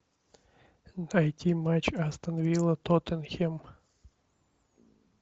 найти матч астон вилла тоттенхэм